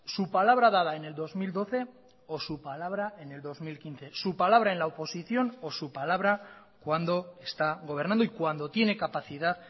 su palabra dada en el dos mil doce o su palabra en el dos mil quince su palabra en la oposición o su palabra cuando está gobernando y cuando tiene capacidad